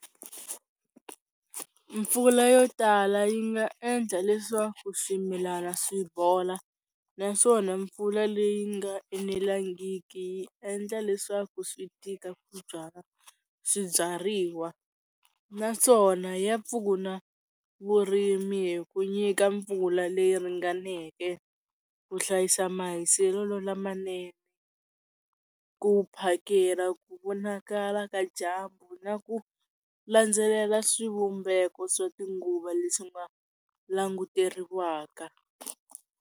Mpfula yo tala yi nga endla leswaku swimilana swi bola naswona mpfula leyi nga enelangiki yi endla leswaku swi tika ku byala swibyariwa naswona ya pfuna vurimi hi ku nyika mpfula leyi ringaneke ku hlayisa mahiselelo lamanene ku phakela ku vonakala ka dyambu na ku landzelela swivumbeko swa tinguva leswi nga languteriwaka.